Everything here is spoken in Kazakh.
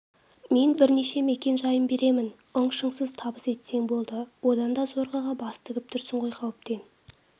мен бірнеше мекен-жайын беремін ың-шыңсыз табыс етсең болды одан да зорғыға бас тігіп тұрсың ғой қауіптен